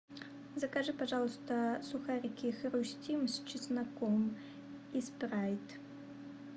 закажи пожалуйста сухарики хрустим с чесноком и спрайт